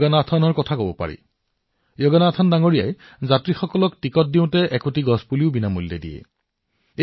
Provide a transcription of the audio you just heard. যোগনাথন জীয়ে তেওঁৰ বাছৰ যাত্ৰীসকলক টিকট দিয়ে আৰু লগতে এটা উদ্ভিদৰ পুলিও বিনামূলীয়াকৈ দিয়ে